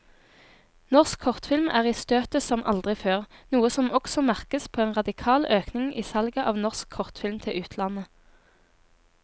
Norsk kortfilm er i støtet som aldri før, noe som også merkes på en radikal økning i salget av norsk kortfilm til utlandet.